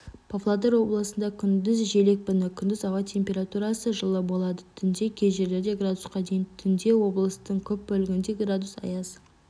павлодар облысында күндіз жел екпіні күндіз ауа температурасы жылы болады түнде кей жерлерде градусқа дейін түнде облыстың көп бөлігінде градус аяз